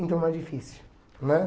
Então não é difícil, né?